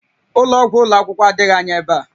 Ụlọ ọgwụ ụlọ akwụkwọ adịghị anya ebe a